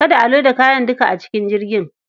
Kada a loda kayan duka a cikin jirgin.